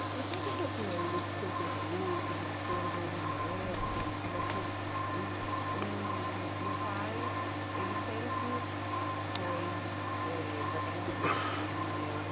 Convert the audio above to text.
Então, conta um pouquinho aí desse seu percurso, desse seu envolvimento, como é que... Então, o meu pai, ele sempre foi eh da Camisa Verde, ele é um